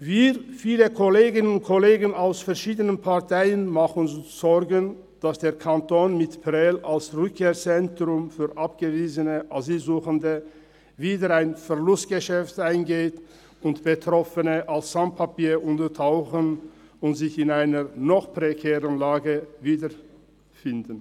Wir, viele Kolleginnen und Kollegen aus verschiedenen Parteien, machen uns Sorgen, dass der Kanton mit Prêles als Rückkehrzentrum für abgewiesene Asylsuchende wieder ein Verlustgeschäft eingeht und dass Betroffene als Sans-Papier untertauchen und sich in einer noch prekäreren Lage wiederfinden.